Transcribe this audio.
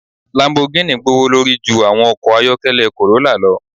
Lambogini gbowolori ju awọn ọkọ ayọkẹlẹ corrolla lọ